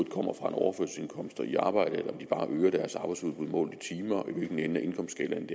kommer fra en overførselsindkomst eller er i arbejde og bare øger deres arbejdsudbud målt i timer og hvilken ende af indkomstskalaen